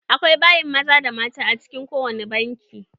Akwai bayin maza da na mata a ciki ko wajen bankin.